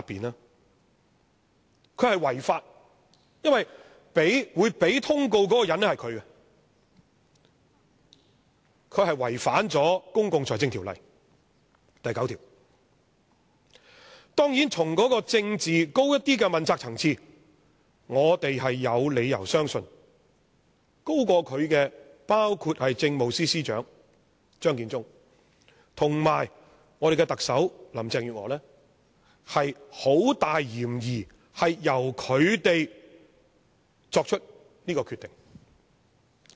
他是違法，因為他是給予通告的人，但他卻違反了《公共財政條例》第9條——當然，從較高的政治問責層次，我們有理由相信高級過他的人，包括政務司司長張建宗和我們的特首林鄭月娥，有很大嫌疑是由他們作出這個決定的。